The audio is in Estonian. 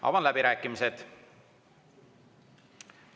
Avan läbirääkimised.